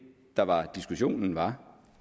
der var diskussionen var